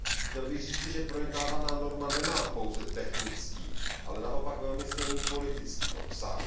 Chtěl bych říci, že projednávaná norma nemá pouze technický, ale naopak velmi silný politický obsah.